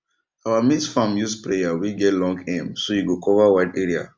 our maize farm use sprayer wey get long arm so e go cover wide area